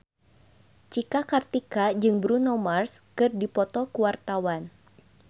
Cika Kartika jeung Bruno Mars keur dipoto ku wartawan